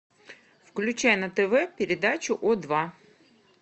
включай на тв передачу о два